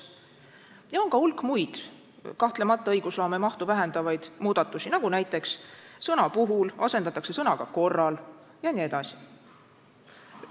Ja on ka hulk muid, kahtlemata õigusloome mahtu vähendavaid muudatusi, nagu näiteks sõna "puhul" asendatakse sõnaga "korral" jne.